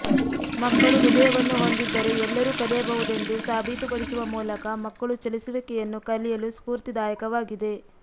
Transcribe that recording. ಮಕ್ಕಳು ಹೃದಯವನ್ನು ಹೊಂದಿದ್ದರೆ ಎಲ್ಲರೂ ಕಲಿಯಬಹುದೆಂದು ಸಾಬೀತುಪಡಿಸುವ ಮೂಲಕ ಮಕ್ಕಳು ಚಲಿಸುವಿಕೆಯನ್ನು ಕಲಿಯಲು ಸ್ಪೂರ್ತಿದಾಯಕವಾಗಿದೆ